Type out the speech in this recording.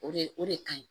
O de o de ka ɲi